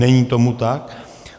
Není tomu tak.